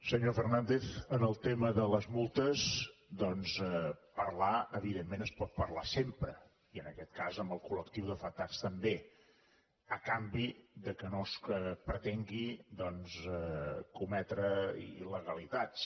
senyor fernàndez en el tema de les multes doncs parlar evidentment es pot parlar sempre i en aquest cas amb el col·lectiu d’afectats també a canvi que no es pretengui cometre illegalitats